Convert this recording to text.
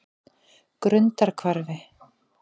Grundarhvarfi